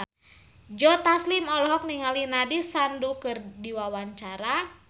Joe Taslim olohok ningali Nandish Sandhu keur diwawancara